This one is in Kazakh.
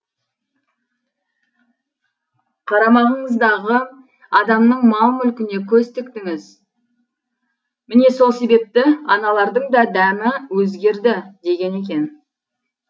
қарамағыңыздағы адамның мал мүлкіне көз тіктіңіз міне сол себепті аналардың да дәмі өзгерді деген екен